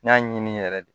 N y'a ɲini yɛrɛ de